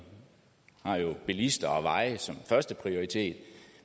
har jo bilister og veje som førsteprioritet